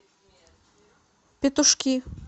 петушки